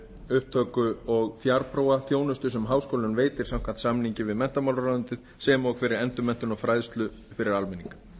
upptöku og fjarprófa þjónustu sem háskóli veitir samkvæmt samningi við menntamálaráðuneytið sem og fyrir endurmenntun og fræðslu fyrir almenning